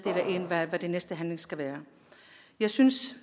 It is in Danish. hvad den næste handling skal være jeg synes